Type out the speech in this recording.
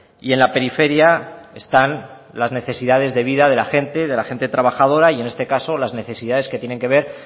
y en la periferia están las necesidades de vida de la gente y de la gente trabajadora y en este caso las necesidades que tiene que ver